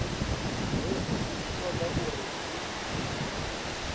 hezwi zwi toda uri hu